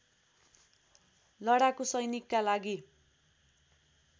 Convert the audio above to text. लडाकु सैनिकका लागि